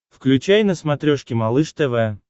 включай на смотрешке малыш тв